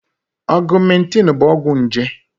Augmentin bụ ọgwụ nje.